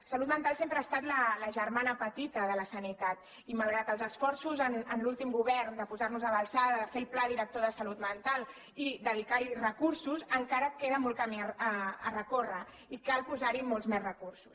la salut mental sempre ha estat la germana pe·tita de la sanitat i malgrat els esforços en l’últim go·vern de posar·nos a l’alçada de fer el pla director de salut mental i dedicar·hi recursos encara queda molt camí per recórrer i cal posar·hi molts més recursos